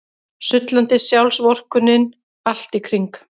Sullandi sjálfsvorkunnin allt í kring.